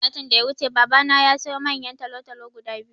Satin can da ya wuce baba na yasiyo manyan talatalo guda biyu